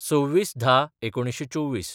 २६/१०/१९२४